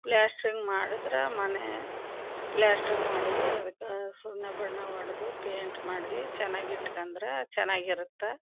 Plastering ಮಾಡುದ್ರ ಮನೆ plastering ಮಾಡಿ ಅದುಕ್ಕ ಸುಣ್ಣ ಬಣ್ಣ ಹೊಡದು ಪೈಂಟ್ ಮಾಡ್ರಿ ಚನ್ನಾಗ್ ಇಟ್ಕೊಂಡರೆ ಚನ್ನಾಗ್ ಇರುತ್ತ.